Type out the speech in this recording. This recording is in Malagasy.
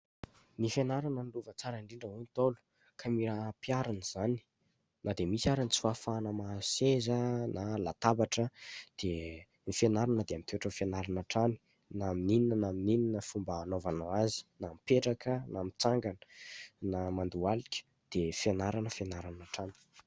Ny fianarana no lova tsara indrindra hoy ny Ntaolo ka mila ampiharina izany na dia misy ara ny tsy fahafahana mahazo seza na latabatra dia ny fianarana dia mitoetra ho fianarana hatrany na amin'inona na min'ny inona fomba hanaovanao azy na mipetraka na mitsangana na mandohalika dia fianarana fianarana hatrany.